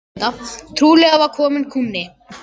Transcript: Trúlega var kominn kúnni.